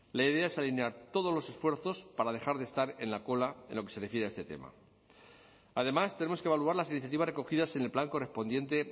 la idea es alinear todos los esfuerzos para dejar de estar en la cola en lo que se refiere a este tema además tenemos que evaluar las iniciativas recogidas en el plan correspondiente